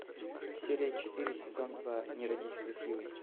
серия четыре сезон два не родись красивой